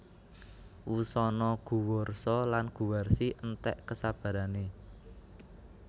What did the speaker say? Wusana Guwarsa lan Guwarsi enték kesabarané